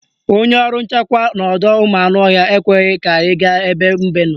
Onye ọrụ nchekwa n'ọdọụmụanụọhịa ekweghị ka anyị gaa ebe mbe nọ